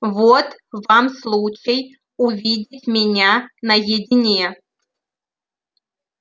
вот вам случай увидеть меня наедине